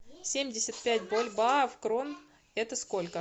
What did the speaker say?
семьдесят пять бальбоа в крон это сколько